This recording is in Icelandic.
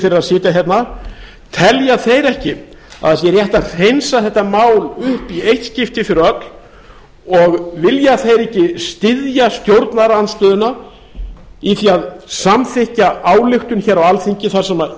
að sitja hérna telja þeir ekki að það sé rétt að hreinsa þetta mál upp í eitt skipti fyrir öll og vilja þeir ekki styðja stjórnarandstöðuna í því að samþykkja ályktun á alþingi þar sem